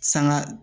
Sanga